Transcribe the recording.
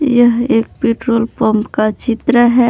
यह एक petrol pump का चित्र है।